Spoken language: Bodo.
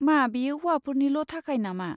मा बेयो हौवाफोरनिल' थाखाय नामा?